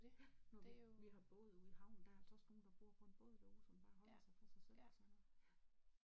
Ja nu har vi vi har båd ude i havnen der er altså også nogen der bor på en båd derude som bare holder sig for sig selv og sådan noget